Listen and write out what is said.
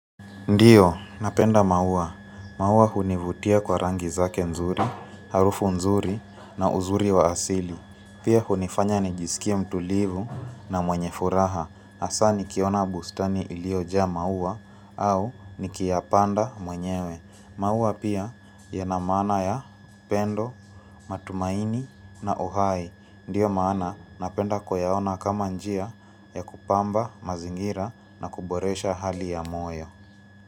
Ndiyo, napenda maua. Maua hunivutia kwa rangi zake nzuri, harufu nzuri na uzuri wa asili. Pia hunifanya nijisikie mtulivu na mwenye furaha. Hasaa nikiona bustani iliyojaa maua au nikiyapanda mwenyewe. Maua pia yana maana ya pendo, matumaini na uhai. Ndiyo maana napenda kuyaona kama njia ya kupamba mazingira na kuboresha hali ya moyo.